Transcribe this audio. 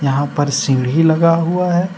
यहां पर सीढ़ी लगा हुआ है।